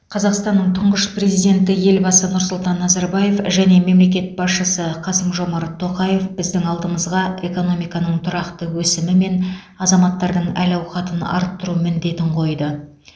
қазақстанның тұңғыш президенті елбасы нұрсұлтан назарбаев және мемлекет басшысы қасым жомарт тоқаев біздің алдымызға экономиканың тұрақты өсімі мен азаматтардың әл ауқатын арттыру міндетін қойды